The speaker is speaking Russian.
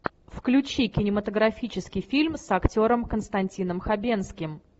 включи кинематографический фильм с актером константином хабенским